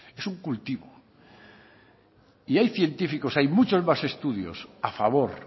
es un cultivo y hay científicos hay muchos más estudios a favor